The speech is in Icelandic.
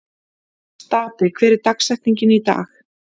Stapi, hver er dagsetningin í dag?